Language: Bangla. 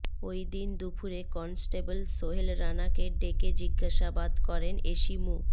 ওইদিন দুপুরে কনস্টেবল সোহেল রানাকে ডেকে জিজ্ঞাসাবাদ করেন এসি মো